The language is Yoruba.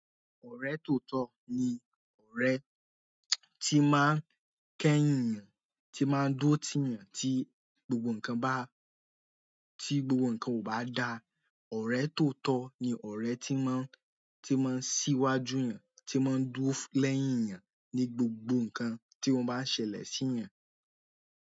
Ọ̀rẹ́ tóotọ́ ni ọ̀rẹ́ tí máa ń kẹ́yìn èèyàn, tí máa ń dúró tì èèyàn tí gbogbo nǹkan bá, tí gbogbo nǹkan ò bá da. Ọ̀rẹ́ tóotọ́ ni ọ̀rẹ́ tí máa ń, tí máa ń síwájú èèyàn, tí máa ń dúró lẹ́yìn èèyàn ní gbogbo nǹkan tí o bá ń ṣẹlẹ̀ sí èèyàn.